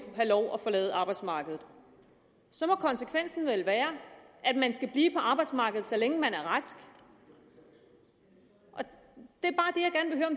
have lov at forlade arbejdsmarkedet så må konsekvensen vel være at man skal blive på arbejdsmarkedet så længe man er rask det